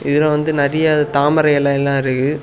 இதுல வந்து நறைய தாமரை இலை எல்லா இருக்கு.